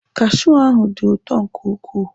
Kashiu ahụ dị ụtọ nke ukwuu.